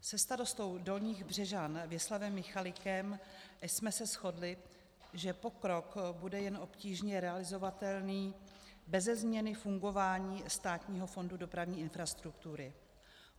Se starostou Dolních Břežan Věslavem Michalikem jsme se shodli, že pokrok bude jen obtížně realizovatelný beze změny fungování Státního fondu dopravní infrastruktury.